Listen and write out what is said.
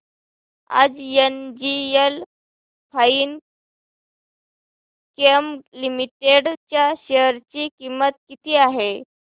आज NGL Finechem limited च्या share ची किंमत किती आहे